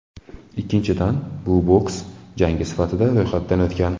Ikkinchidan, bu boks jangi sifatida ro‘yxatdan o‘tgan.